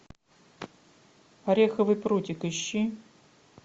ореховый прутик ищи